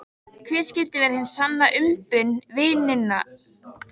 Hver skyldi vera hin sanna umbun vinnunnar fyrir honum?